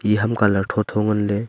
iya ham colour tho tho ngan ley.